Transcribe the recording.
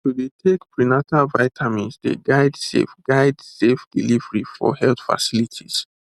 to dey take prenatal vitamins dey guide safe guide safe delivery for health facilities